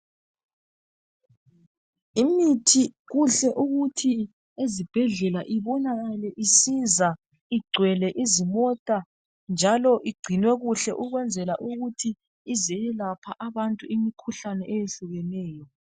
Imithi kuhle ukuthi ezibhedlela ibonakale isiza igcwele izimota njalo igcinwe kuhle ukwenzela ukuthi izoyelaphe abantu imikhuhlane eyehlukeneyo.